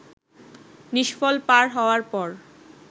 নিষ্ফল পার হওয়ার পর